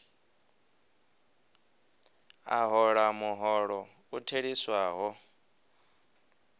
a hola muholo u theliswaho